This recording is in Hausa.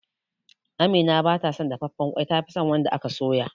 Amina ba ta son dafafen ƙwai ta fison wanda aka doya